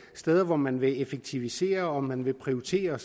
steder hvor man vil effektivisere og man vil prioritere